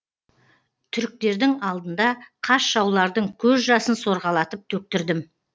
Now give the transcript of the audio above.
түріктердің алдында қас жаулардың көз жасын сорғалатып төктірдім